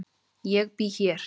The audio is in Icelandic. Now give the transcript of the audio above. Ég bý hér.